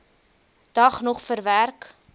dag nog verwerk